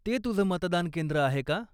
ते तुझं मतदानकेंद्र आहे का?